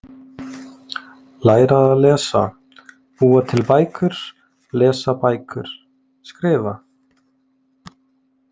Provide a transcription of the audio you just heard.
Læra að lesa- búa til bækur- lesa bækur- skrifa